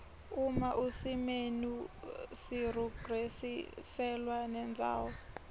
uma usimenu sirurgiselwa nendzawo